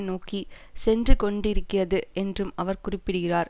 நோக்கி சென்று கொண்டிருக்கிறது என்றும் அவர் குறிப்பிடுகிறார்